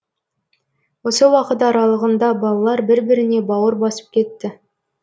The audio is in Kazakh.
осы уақыт аралығында балалар бір біріне бауыр басып кетті